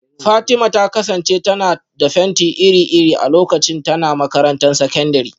Fatima ta kasance tana da fenti iri-iri a lokacin tana makarantar sakandare